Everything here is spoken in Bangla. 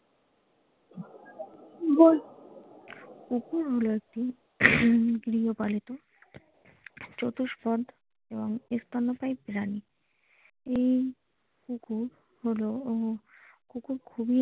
কুকুর হল একটি গৃহপালিত চতুষ্পদ স্তন্যপায়ী প্রাণী এই কুকুর হলো ও কুকুর খুবই।